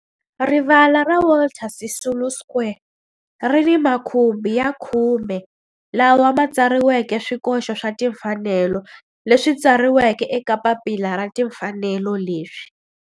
Rivala ra Walter Sisulu Square ri ni makhumbi ya khume lawa ma tsariweke swikoxo swa timfanelo leswi tsariweke eka papila ra timfanelo leswi.